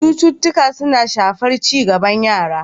Cututtuka suna shafar ci gaban yara.